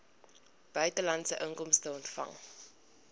buitelandse inkomste ontvang